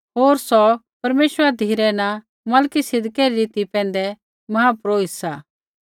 होर सौ परमेश्वरा धिरै न मलिकिसिदकै री रीति पैंधै महापुरोहित सा